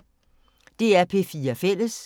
DR P4 Fælles